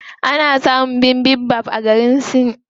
Ana samun bibimbap a garin Sin.